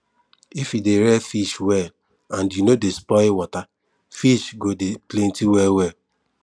if we dey rear fish well and you no dey spoil water fish go dey plenty well well